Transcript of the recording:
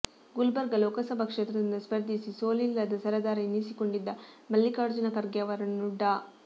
ಗುಲ್ಬರ್ಗಾ ಲೋಕಸಭಾ ಕ್ಷೇತ್ರದಿಂದ ಸ್ಪರ್ಧಿಸಿ ಸೋಲಿಲ್ಲದ ಸರದಾರ ಎನಿಸಿಕೊಂಡಿದ್ದ ಮಲ್ಲಿಕಾರ್ಜುನ ಖರ್ಗೆ ಅವರನ್ನು ಡಾ